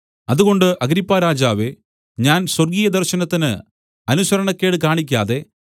അതുകൊണ്ട് അഗ്രിപ്പാരാജാവേ ഞാൻ സ്വർഗ്ഗീയദർശനത്തിന് അനുസരണക്കേട് കാണിക്കാതെ